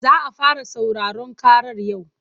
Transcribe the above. Za a fara sauraron ƙarar yau.